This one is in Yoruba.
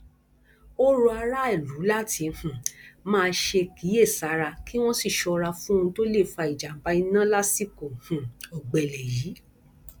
ó rọ aráàlú láti um máa kíyèsára kí wọn sì ṣọra fún ohun tó lè fa ìjàmbá iná lásìkò um ọgbẹlẹ yìí